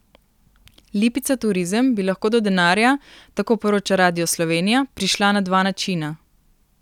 Lipica Turizem bi lahko do denarja, tako poroča Radio Slovenija, prišla na dva načina.